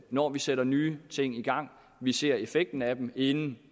når vi sætter nye ting i gang ser effekten af dem inden